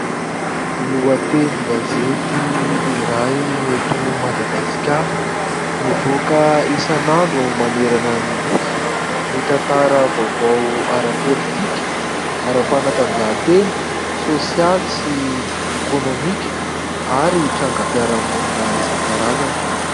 Lohatenin-gazety iray eto Madagasikara, mivoaka isanandro manerana ny nosy ; mitantara vaovao ara-politika, ara-panatanjahantena, sosialy sy ekônomika ary trangam-piarahamonina isankarazany.